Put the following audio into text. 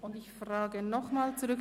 Und ich frage nochmal zurück: